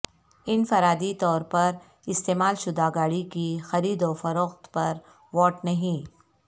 انفرادی طور پر استعمال شدہ گاڑی کی خرید و فروخت پر واٹ نہیں